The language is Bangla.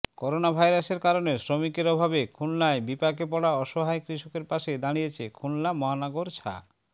করোনাভাইরাসের কারণে শ্রমিকের অভাবে খুলনায় বিপাকে পড়া অসহায় কৃষকের পাশে দাঁড়িয়েছে খুলনা মহানগর ছা